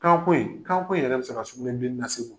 Kanko in kanko in yɛrɛ bɛ se ka sugunɛbilennin lase